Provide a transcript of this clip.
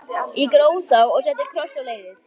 Ég gróf þá og setti kross á leiðið.